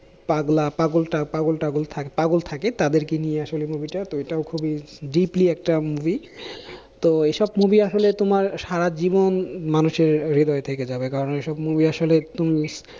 পাগলা পাগলটা পাগলটা পাগল থাকে তাদেরকে নিয়ে আসলে movie টা তো এটাও খুবই deeply একটা movie তো এইসব movie আসলে তোমার সারাজীবন মানুষের হৃদয়ে থেকে যাবে কারণ ঐসব movie আসলে তুমি